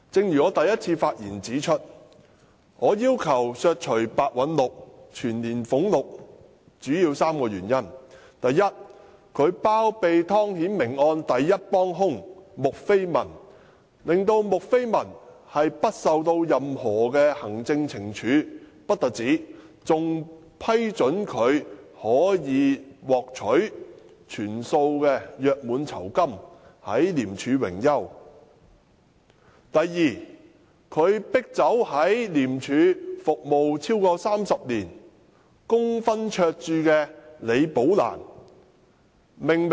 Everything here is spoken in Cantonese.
一如我在首次發言中指出，我要求削減白韞六的全年薪津的主要原因有三：第一，他包庇湯顯明案的第一幫兇穆斐文，不單令她無須接受任何行政懲處，更批准她可獲全數約滿酬金，在廉署榮休；第二，白韞六迫走在廉署服務超過30年的李寶蘭女士。